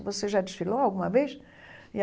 Você já desfilou alguma vez e aí.